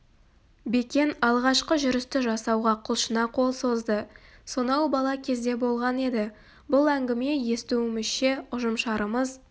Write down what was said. бекен алғашқы жүрісті жасауға құлшына қол созды сонау бала кезде болған еді бұл әңгіме естуімізше ұжымшарымыз